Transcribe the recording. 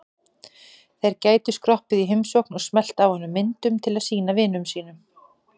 Þeir gætu skroppið í heimsókn og smellt af honum myndum til að sýna vinum sínum.